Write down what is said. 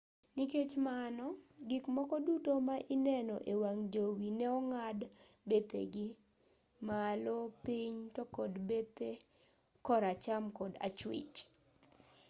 nikech mano gik moko duto ma ineno e wang' jowi ne ong'ad bethegi malo piny to kod bethe kor acham kod achwich